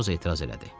Matros etiraz elədi.